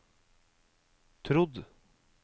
trodd